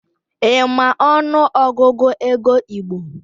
Ị ma ọnụ Ọgụgụ ego igbo?